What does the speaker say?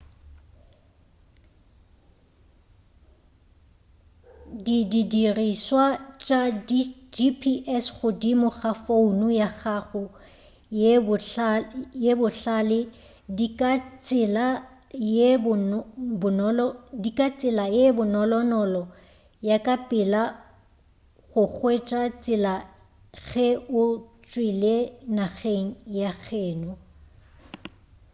di dirišwa tša gps godimo ga founo ya gago ye bohlale di ka tsela ye bonolonolo ya ka pela go hwetša tsela ge o tšwele nageng ya geno